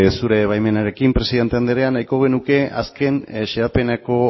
zure baimenarekin presidente andrea nahiko genuke azken xedapeneko